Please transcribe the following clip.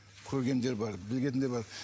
көргендер бар білгендер бар